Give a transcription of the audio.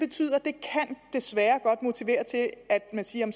desværre godt motivere til at man siger at